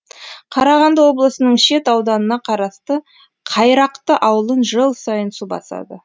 қарағанды облысының шет ауданына қарасты қайрақты ауылын жыл сайын су басады